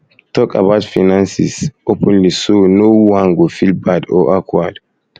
talk about finances um openly so no one um go feel bad or awkward